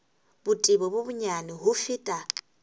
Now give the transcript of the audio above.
botebo bo bonyane ho feta